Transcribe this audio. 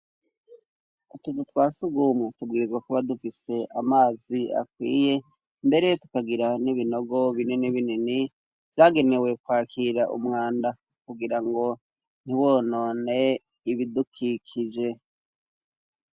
Utuzu twasugumwe, tubwirizwa kuba dufise amazi akwiye, mbere tukagira n'ibinogo binini binini vyagenewe kwakira umwanda kugira ngo ntiwonone ibidukikije.